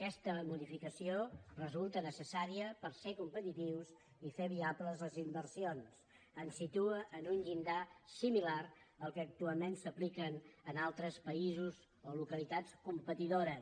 aquesta modificació resulta necessària per ser competitius i fer viables les inversions ens situa en un llindar similar al que actualment s’apliquen en altres països o localitats competidores